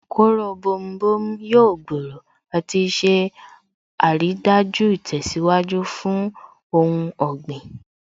Kóró bomu bomu yóò gbòòrò àti ṣe àrídájú ìtẹ̀síwájú fún ohun ọ̀gbìn